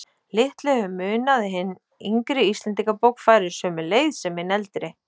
Litlu hefur munað að hin yngri Íslendingabók færi sömu leið sem hin eldri.